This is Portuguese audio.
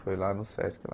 Foi lá no Sesc, lá.